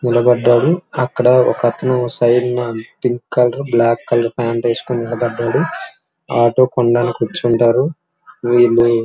నిలబడ్డాడు. అక్కడ సైడ్ న pink colour black colour pant వేసుకొని నిలబడ్డాడు. ఆటో కూర్చుంటారు. వీళ్ళు --